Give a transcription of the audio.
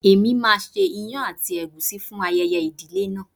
Èmi máa ṣe ìyàn àti ègúsí fún ayẹyẹ ìdílé náà.